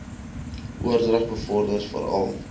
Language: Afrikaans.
oordrag bevorder veral